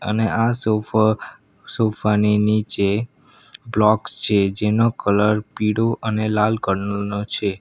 અને આ સોફ સોફા ની નીચે બ્લોક્સ છે જેનો કલર પીળો અને લાલ કલર નો છે.